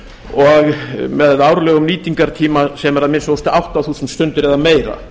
og með árlegum nýtingartíma sem er að minnsta kosti átta þúsund stundir eða meira